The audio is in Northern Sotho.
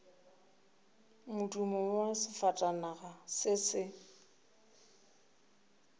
modumo wa sefatanaga se se